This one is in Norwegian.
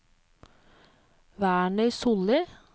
Werner Solli